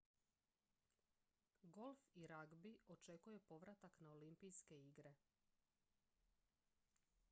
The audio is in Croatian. golf i ragbi očekuje povratak na olimpijske igre